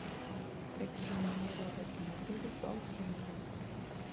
какие номера в этом отеле с балконами